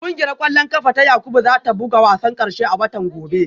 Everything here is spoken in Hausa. Kungiyar kwallon kafa ta Yakubu za ta buga wasan karshe a watan gobe